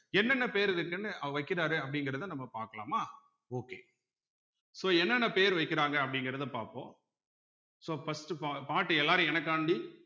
என்னென்ன பேர் இருக்குன்னு வைக்கிறாரு அப்படிங்கிறதை நம்ம பார்க்கலாமா okay so என்னென்ன பேர் வைக்கிறாங்க அப்படிங்கிறத பார்ப்போம் so first பா பாட்டு எல்லாரும் எனக்காண்டி